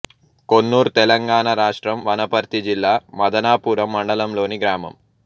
కొన్నూర్ తెలంగాణ రాష్ట్రం వనపర్తి జిల్లా మదనాపురం మండలంలోని గ్రామం